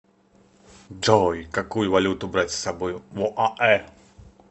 джой какую валюту брать с собой в оаэ